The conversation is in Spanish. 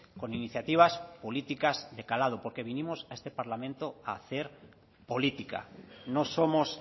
con iniciativas políticas de calado porque vinimos a este parlamento a hacer política no somos